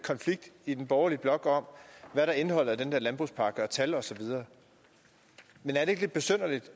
konflikt i den borgerlige blok om hvad der er indholdet af den der landbrugspakke og tal osv men er det ikke lidt besynderligt